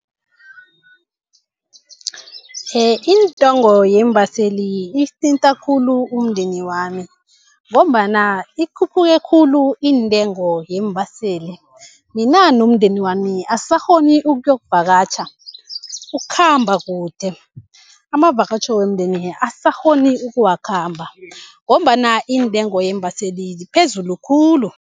Intengo yeembaseli isithinta khulu umndeni wami ngombana ikhuphuke khulu intengo yeembaseli. Mina nomndeni wami asisakghoni ukuyokuvakatjha, ukukhamba kude. Amavakatjho womndeni asisakghoni ukuwakhamba ngombana intengo yeembaseli ziphezulu khulu.